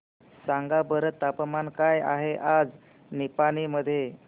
सांगा बरं तापमान काय आहे आज निपाणी मध्ये